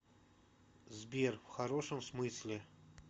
сбер в хорошем смысле